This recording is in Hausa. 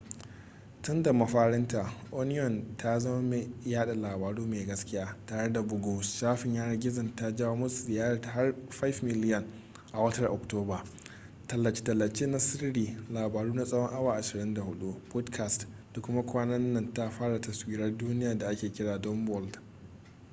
tunda mafarinta onion ta zama mai yada labaru mai gaskiya tare da bugu shafin yanar gizonta ta jawo masu ziyarta har 5,000,000 a watar oktoba tallace-tallace na sirri labaru na tsawon awa 24 podcasts da kuma kwanan nan ta fara taswirar duniya da ake kira dumb world